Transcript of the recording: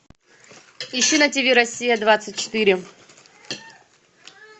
ищи на тв россия двадцать четыре